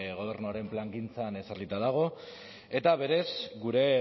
gobernuaren plangintzan ezarrita dago eta berez gure